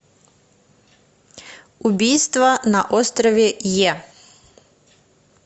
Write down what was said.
убийство на острове йе